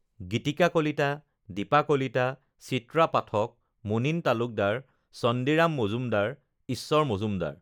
Gitika Kalita, Dipa Kalita, Chitra Pathak, Munin Talukdar, Chandiram Majumdar, Ishwar Majumdar